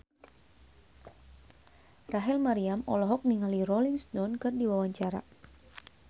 Rachel Maryam olohok ningali Rolling Stone keur diwawancara